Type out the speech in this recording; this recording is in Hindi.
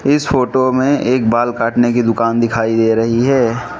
इस फोटो में एक बाल काटने की दुकान दिखाई दे रही है।